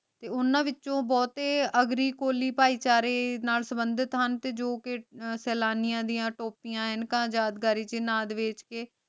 ਤੇ ਓਨਾਂ ਵਿਚੋਂ ਬੋਹਤੇ ਅਗ੍ਰਿ ਕੋਲੀ ਭਾਈ ਚਾਰੇ ਨਾਲ ਸੰਭੰਦਿਤ ਹਨ ਤੇ ਜੋ ਕੇ ਸਲਾਨਿਯਾ ਡਿਯਨ ਟੋਪੀਆਂ ਅਨੇਕ੍ਹਨ ਯਾਗਾਰੀ ਚ